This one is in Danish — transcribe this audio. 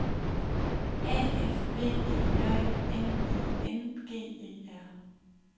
A F V E J N I N G E R